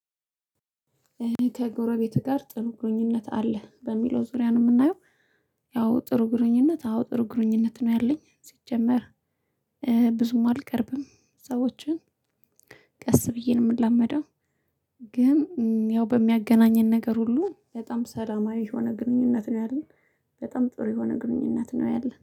ከጎረቤትህ ጋር ጥሩ ግርኙነት አለ በሚለው ዙሪያ ነው የምናየው። ያው ጥሩ ግርኙነት አዎ ጥሩ ግርኙነት ነው ያለኝ ሲጀመር። ብዙም አልቀርብም ሰዎችን። ቀስ ብዬ ነው የምላመደው። ግን ያው በሚያገናኘን ነገር ሁሉ በጣም ሰላማዊ የሆነ ግንኙነት ነው ያለን። በጣም ጥሩ የሆነ ግንኙነት ነው ያለን